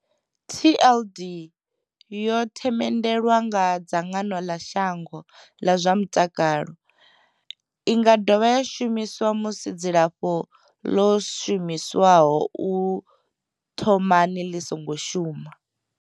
TLD yo themendelwa nga dzangano ḽa shango ḽa zwa mutakalo. I nga dovha ya shumiswa musi dzilafho ḽo shumiswaho u thomani ḽi songo shuma.